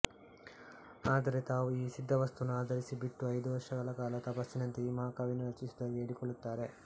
ಆದರೆ ತಾವು ಈ ಸಿದ್ದ ವಸ್ತುವನ್ನು ಆಧರಿಸಿ ಬಿಟ್ಟು ಐದು ವರ್ಷಗಳ ಕಾಲ ತಪಸ್ಸಿನಂತೆ ಈ ಮಹಾಕಾವ್ಯವನ್ನು ರಚಿಸಿದುದಾಗಿ ಹೇಳಿಕೂಳ್ಳುತ್ತಾರೆ